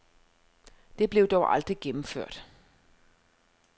Det blev dog aldrig gennemført.